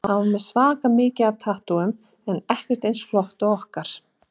Hann var með svaka mikið af tattúum en ekkert eins flott og okkar.